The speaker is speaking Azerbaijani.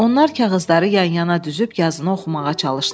Onlar kağızları yan-yana düzüb yazını oxumağa çalışdılar.